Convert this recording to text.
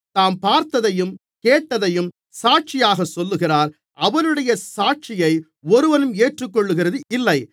தாம் பார்த்தையும் கேட்டதையும் சாட்சியாகச் சொல்லுகிறார் அவருடைய சாட்சியை ஒருவனும் ஏற்றுக்கொள்ளுகிறது இல்லை